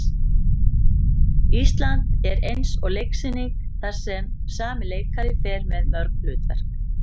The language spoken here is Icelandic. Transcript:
Ísland er eins og leiksýning þar sem sami leikari fer með mörg hlutverk.